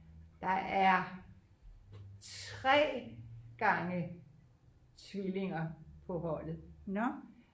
der er 3 gange tvillinger på holdet